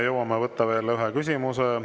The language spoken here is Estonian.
Jõuame võtta veel ühe küsimuse.